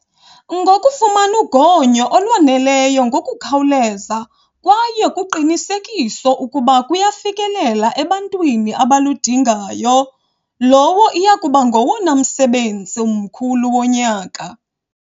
Ngokufumana ugonyo olwaneleyo ngokukhawuleza kwaye kuqinisekiswe ukuba luyafikelela ebantwini abaludingayolowo iya kuba ngowona msebenzi mkhulu wonyaka.